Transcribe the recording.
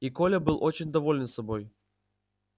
и коля был очень доволен собой